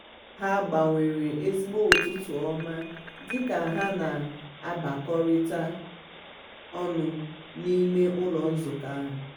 ha gbanwere ezigbo "ụtụtụ ọma" dị ka ha na-abakọrịta ọnụ n'ime ụlọ nzukọ ahụ.